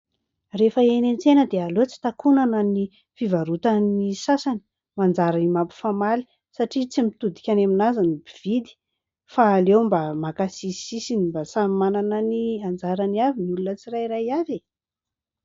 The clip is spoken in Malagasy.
Rehefa eny an-tsena dia aleo tsy takonana ny fivarotan'ny sasany, manjary mampifamaly satria tsy mitodika any amin'azy ny mpividy, fa aleo mba maka sisisisiny, mba samy manana ny anjarany avy ny olona tsirairay avy e !